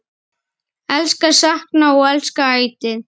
Elska, sakna og elska ætíð.